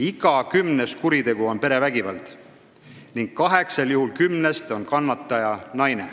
Iga kümnes kuritegu on perevägivalla juhtum ning kaheksal juhul kümnest on kannataja naine.